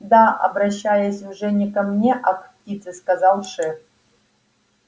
да обращаясь уже не ко мне а к птице сказал шеф